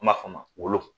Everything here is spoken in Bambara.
An b'a f'ɔ ma wolo